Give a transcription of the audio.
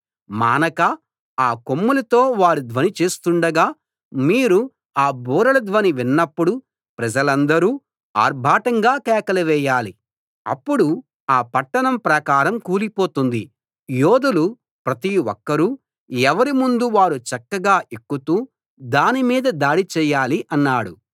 మానక ఆ కొమ్ములతో వారు ధ్వని చేస్తూండగా మీరు ఆ బూరల ధ్వని విన్నప్పుడు ప్రజలందరూ ఆర్భాటంగా కేకలు వేయాలి అప్పుడు ఆ పట్టణ ప్రాకారం కూలిపోతుంది యోధులు ప్రతి ఒక్కరూ ఎవరి ముందు వారు చక్కగా ఎక్కుతూ దాని మీద దాడి చెయ్యాలి అన్నాడు